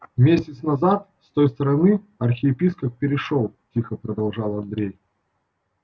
месяц назад с той стороны архиепископ перешёл тихо продолжал андрей